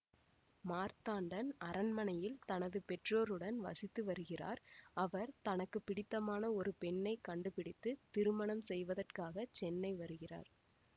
மார்த்தாண்டன் அரண்மனையில் தனது பெற்றோருடன் வசித்து வருகிறார் அவர் தனக்கு பிடித்தமான ஒரு பெண்ணை கண்டுபிடித்து திருமணம் செய்வதற்காக சென்னை வருகிறார்